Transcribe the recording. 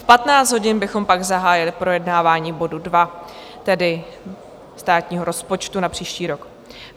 V 15 hodin bychom pak zahájili projednávání bodu 2, tedy státního rozpočtu na příští rok.